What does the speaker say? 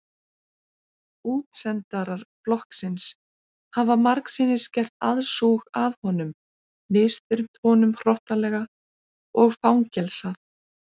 Útsendarar flokksins hafa margsinnis gert aðsúg að honum misþyrmt honum hrottalega og fangelsað.